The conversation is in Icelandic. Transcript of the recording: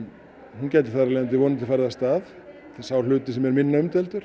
hún gæti vonandi farið af stað sá hluti sem er minna umdeildur